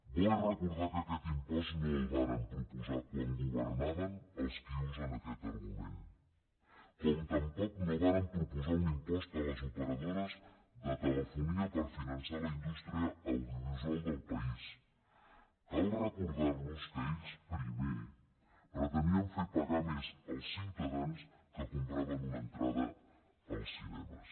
bo és recordar que aquest impost no el varen proposar quan governaven els qui usen aquest argument com tampoc no varen proposar un impost a les operadores de telefonia per finançar la indústria audiovisual del país cal recordarlos que ells primer pretenien fer pagar més als ciutadans que compraven una entrada als cinemes